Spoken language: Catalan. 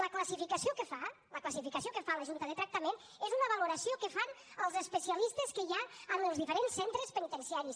la classificació que fa la classificació que fa la junta de tractament és una valoració que fan els especialistes que hi ha en els diferents centres penitenciaris